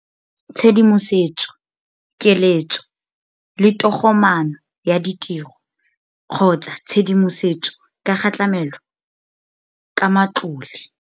Tshedimosetso, keletso le togomaano ya ditiro-tshedimosetso ka ga tlamelo ka matlole.